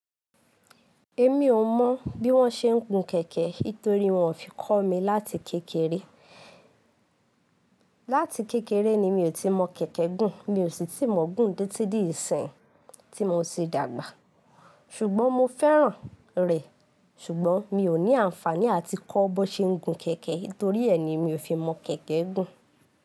Èmi ò mọ̀ bí wọ́n ṣe ń gun kẹ̀kẹ́ nítorí wọn ò fi kọ́ mi láti kékeré. Láti kékeré ni mi ò tíì mọn kẹ̀kẹ́ gùn, mi ò sì tí mọ̀n gùn títí di ìsìn tí mo ti dàgbà. Ṣùgbọ́n mo fẹ́ràn rẹ̀, ṣùgbọ́n mi ò ní àǹfaàní àti kọ́ bón ṣe ń gun kẹ̀kẹ́ nítorí ẹ ni mi ò fi mọ̀ kẹ̀kẹ́ gùn.